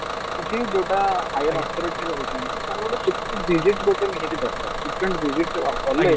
କିଛି ଯୋଉଟା higher authority ରହୁଛନ୍ତି ସେମାନେ ଗୋଟେ security visit ଗୋଟେ ନିହାତି ଦରକାର security visit କଲେ